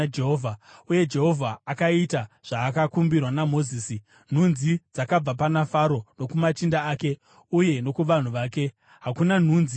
uye Jehovha akaita zvaakakumbirwa naMozisi. Nhunzi dzakabva pana Faro nokumachinda ake uye nokuvanhu vake; hakuna nhunzi yakasara.